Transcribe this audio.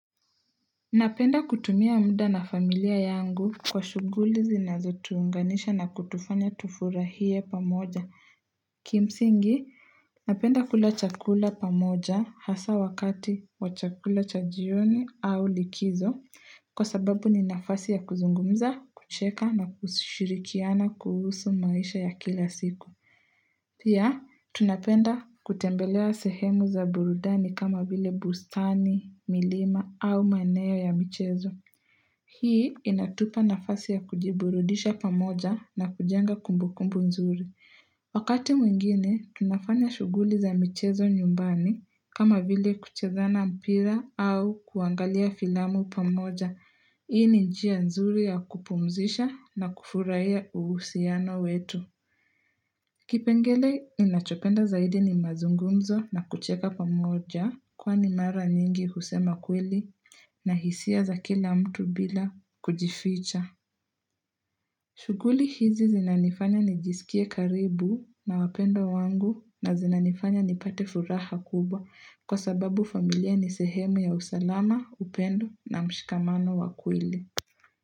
Napenda kutumia muda na familia yangu kwa shughuli zinazo tuunganisha na kutufanya tufurahie pamoja. Kimsingi, napenda kula chakula pamoja hasa wakati wa chakula cha jioni au likizo. Kwa sababu ni nafasi ya kuzungumza, kucheka na kushirikiana kuhusu maisha ya kila siku. Pia, tunapenda kutembelea sehemu za burudani kama vile bustani, milima au maeneo ya michezo. Hii inatupa nafasi ya kujiburudisha pamoja na kujenga kumbukumbu nzuri. Wakati mwingine, tunafanya shughuli za michezo nyumbani kama vile, kucheza na mpira au kuangalia filamu pamoja. Hii ni njia nzuri ya kupumzisha na kufurahia uhusiano wetu. Kipengele ninachopenda zaidi ni mazungumzo na kucheka pamoja kwani mara nyingi husema kweli na hisia za kila mtu bila kujificha. Shughuli hizi zinanifanya nijisikie karibu na wapendwa wangu na zinanifanya nipate furaha kubwa kwa sababu familia ni sehemu ya usalama, upendo na mshikamano wa kweli.